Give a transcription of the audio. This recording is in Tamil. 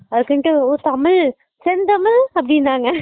அதுகுன்ட்டு ஓ தமிழ் செந்த்தமிழ் அப்படின்னாங்க